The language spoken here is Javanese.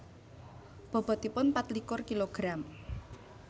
Bobotipun patlikur kilogram